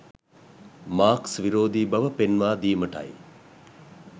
Marx විරෝධී බව පෙන්වා දීමටයි.